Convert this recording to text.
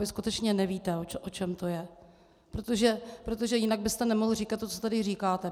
Vy skutečně nevíte, o čem to je, protože jinak byste nemohl říkat to, co tady říkáte.